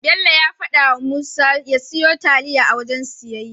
Bello ya fadawa Musa ya siyo taliya a wajen siyayya.